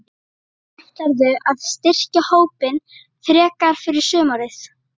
Ætlarðu að styrkja hópinn frekar fyrir sumarið?